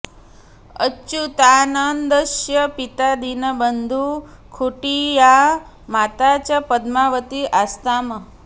अच्युतानन्दस्य पिता दीनबन्धु खुण्टिआ माता च पद्मावती आस्ताम्